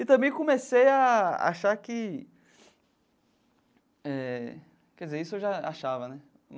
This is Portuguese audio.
E também comecei a achar que eh... Quer dizer, isso eu já achava, né?